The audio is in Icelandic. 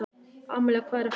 Amalía, hvað er að frétta?